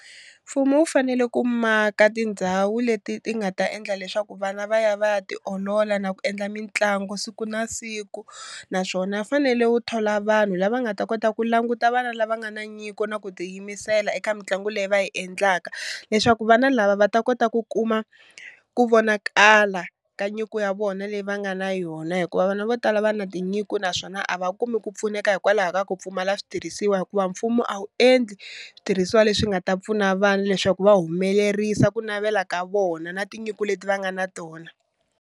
Mfumo wu fanele ku maka tindhawu leti ti nga ta endla leswaku vana va ya va ya tiolola na ku endla mitlangu siku na siku, naswona fanele wu thola vanhu lava nga ta kota ku languta vana lava nga na nyiko na ku tiyimisela eka mitlangu leyi va yi endlaka, leswaku vana lava va ta kota ku kuma ku vonakala ka nyiko ya vona leyi va nga na yona, hikuva vana vo tala va na tinyiko naswona a va kumi ku pfuneka hikwalaho ka ku pfumala switirhisiwa hikuva mfumo a wu endli switirhisiwa leswi nga ta pfuna vana leswaku va humelerisa ku navela ka vona na tinyiko leti va nga na tona.